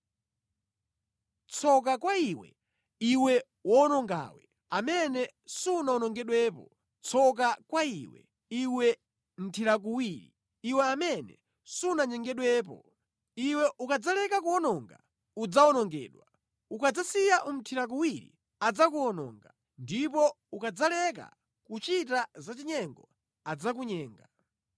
Tsoka kwa iwe, iwe wowonongawe, amene sunawonongedwepo! Tsoka kwa iwe, iwe mthirakuwiri, iwe amene sunanyengedwepo! Iwe ukadzaleka kuwononga, udzawonongedwa, ukadzasiya umʼthirakuwiri, adzakuwononga, ndipo ukadzaleka kuchita zachinyengo adzakunyenga.